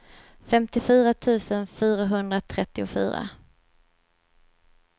femtiofyra tusen fyrahundratrettiofyra